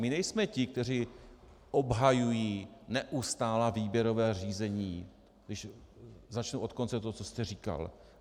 My nejsme ti, kteří obhajují neustálá výběrová řízení, když začnu od konce toho, co jste říkal.